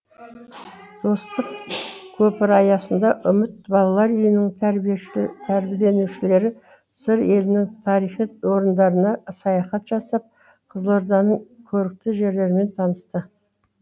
достық көпірі аясында үміт балалар үйінің тәрбиеленушілері сыр елінің тарихи орындарына саяхат жасап қызылорданың көрікті жерлерімен танысты